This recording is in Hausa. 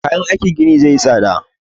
Kayan aikin gini zai yi tsada